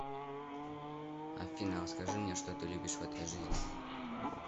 афина расскажи мне что ты любишь в этой жизни